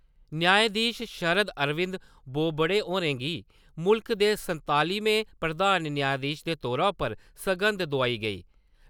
न्यायधीश शरद अरविंद बोबड़े होरें गी मुल्ख दे संतालमें प्रधान न्यायधीश दे तौर उप्पर सगंध दोआई गेई ।